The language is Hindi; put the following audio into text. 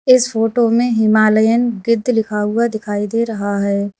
इस फोटो में हिमालयन गिद्ध लिखा हुआ दिखाई दे रहा है।